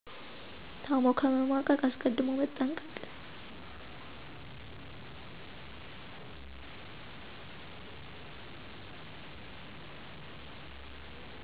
ታሞ ከመማቀቅ አስቀድሞ መጠንቀቅ